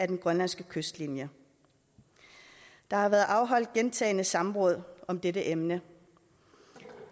den grønlandske kystlinje der har været afholdt gentagne samråd om dette emne